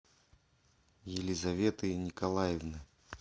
елизаветы николаевны